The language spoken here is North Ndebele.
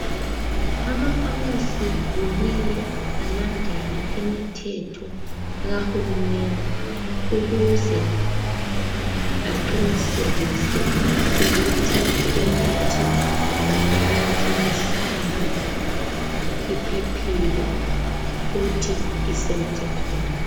Amafamasi kumele alandele imithetho kaHulumende ukuze aqinisekise ukuthi imithi abayithengisayo iphephile futhi isemthethweni.